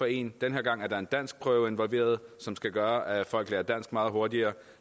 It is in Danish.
en den her gang er der en danskprøve involveret som skal gøre at folk lærer dansk meget hurtigere